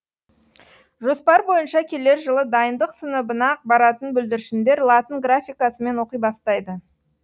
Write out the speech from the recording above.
жоспар бойынша келер жылы дайындық сыныбына баратын бүлдіршіндер латын графикасымен оқи бастайды